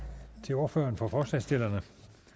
til ordføreren for forslagsstillerne